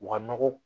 U ka nɔgɔ